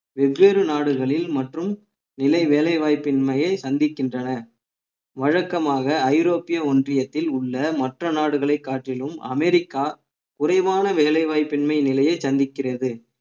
வெவ்வேறு நாடுகளில் மற்றும் இலை வேலை வாய்ப்பின்மையை சந்திக்கின்றன வழக்கமாக ஐரோப்பிய ஒன்றியத்தில் உள்ள மற்ற நாடுகளை காட்டிலும் அமெரிக்கா குறைவான வேலை வாய்ப்பின்மை நிலையை சந்திக்கிறது